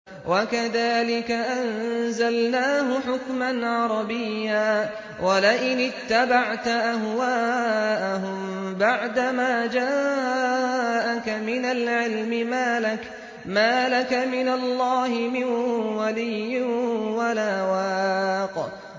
وَكَذَٰلِكَ أَنزَلْنَاهُ حُكْمًا عَرَبِيًّا ۚ وَلَئِنِ اتَّبَعْتَ أَهْوَاءَهُم بَعْدَمَا جَاءَكَ مِنَ الْعِلْمِ مَا لَكَ مِنَ اللَّهِ مِن وَلِيٍّ وَلَا وَاقٍ